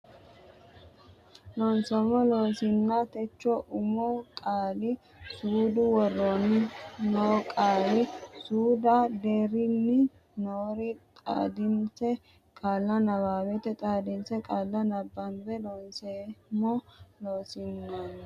Loonseemmo Loossinanni techo umo qaali suudu woroonni noo qaali suudda deerrinni noore xaadinse qaalla nabbawate xadissine qaalla nabbabbe Loonseemmo Loossinanni.